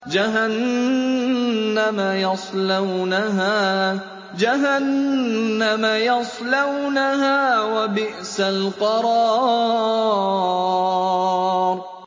جَهَنَّمَ يَصْلَوْنَهَا ۖ وَبِئْسَ الْقَرَارُ